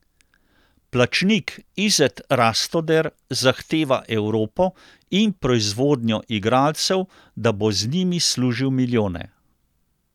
Plačnik Izet Rastoder zahteva Evropo in proizvodnjo igralcev, da bo z njimi služil milijone.